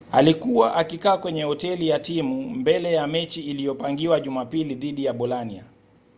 alikuwa akikaa kwenye hoteli ya timu mbele ya mechi iliyopangiwa jumapili dhidi ya bolania